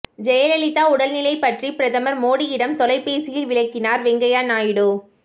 ஜெயலலிதா உடல்நிலை பற்றி பிரதமர் மோடியிடம் தொலைபேசியில் விளக்கினார் வெங்கையா நாயுடு